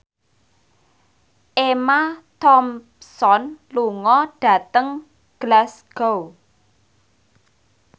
Emma Thompson lunga dhateng Glasgow